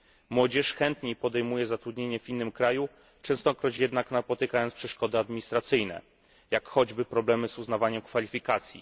Młodzież chętniej podejmuje zatrudnienie w innym kraju, częstokroć jednak napotykając przeszkody administracyjne, jak choćby problemy z uznawaniem kwalifikacji.